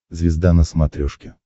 звезда на смотрешке